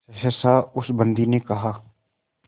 सहसा उस बंदी ने कहा